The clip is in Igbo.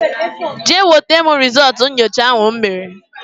Jee wetara m rizultú nyocha ahụ m mere!!!